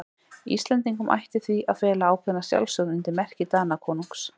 Íslendingum ætti því að fela ákveðna sjálfstjórn undir merki Danakonungs.